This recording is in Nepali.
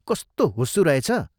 कस्तो हुस्सू रहेछ?